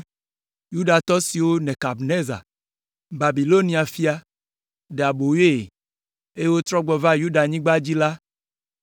Yudatɔ siwo Nebukadnezar, Babilonia fia, ɖe aboyoe, eye wotrɔ gbɔ va Yudanyigba dzi la